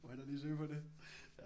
Må hellere lige søge på det